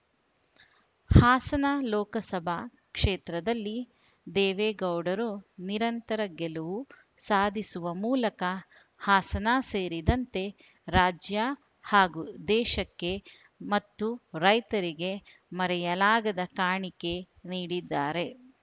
ಹಾಸನ ಲೋಕಸಭಾ ಕ್ಷೇತ್ರದಲ್ಲಿ ದೇವೇಗೌಡರು ನಿರಂತರ ಗೆಲುವು ಸಾಧಿಸುವ ಮೂಲಕ ಹಾಸನ ಸೇರಿದಂತೆ ರಾಜ್ಯ ಹಾಗೂ ದೇಶಕ್ಕೆ ಮತ್ತು ರೈತರಿಗೆ ಮರೆಯಲಾಗದ ಕಾಣಿಕೆ ನೀಡಿದ್ದಾರೆ